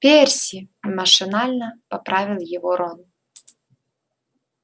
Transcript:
перси машинально поправил его рон